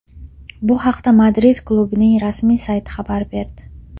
Bu haqda Madrid klubining rasmiy sayti xabar berdi .